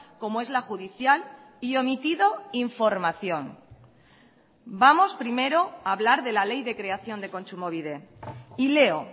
como es la judicial y omitido información vamos primero a hablar de la ley de creación de kontsumobide y leo